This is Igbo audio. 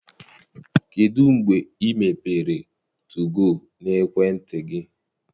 Kedụ mgbe i mepere 2go n'ekwentị gị?